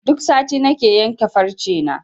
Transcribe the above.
Duk sati nake yanke farce na.